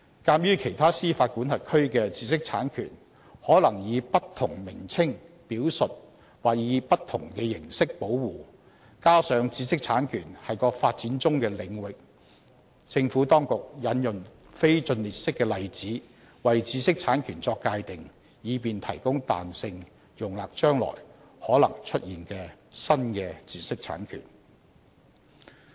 鑒於其他司法管轄區的知識產權可能以不同名稱表述或受不同的形式保護，加上知識產權是個發展中的領域，政府當局引用非盡列式的例子為知識產權作界定，以便提供彈性容納將來可能出現的新的知識產權。